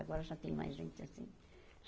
Agora já tem mais gente assim.